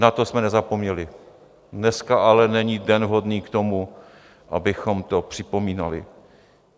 Na to jsme nezapomněli, dneska ale není den vhodný k tomu, abychom to připomínali.